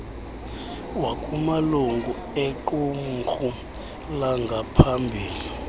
wakumalungu equmrhu langaphambili